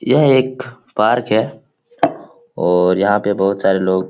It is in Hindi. यह एक पार्क है और यहाँ पे बहुत सारे लोग --